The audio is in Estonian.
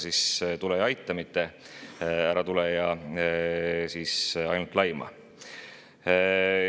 Nii et tule ja aita, mitte ära tule ja ainult laima.